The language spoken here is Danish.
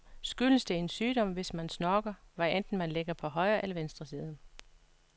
Skyldes det en sygdom, hvis man snorker, hvad enten man ligger på højre eller venstre side?